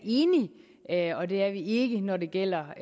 er enig og det er vi ikke når det gælder